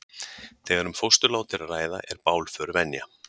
Þegar um fósturlát er að ræða er bálför venja.